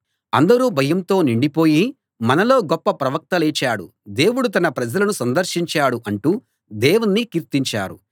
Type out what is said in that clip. అందరూ భయంతో నిండిపోయి మనలో గొప్ప ప్రవక్త లేచాడు దేవుడు తన ప్రజలను సందర్శించాడు అంటూ దేవుణ్ణి కీర్తించారు